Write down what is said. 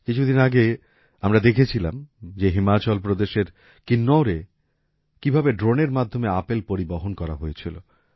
কিছুদিন আগে আমরা দেখেছিলাম যে হিমাচল প্রদেশের কিন্নৌরে কীভাবে ড্রোনের মাধ্যমে আপেল পরিবহন করা হয়েছিল